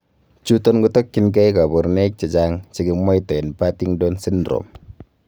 Chuton kotokyinkei koborunoik chechang' chekimwotoien Partington syndrome.